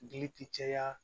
Gili ti caya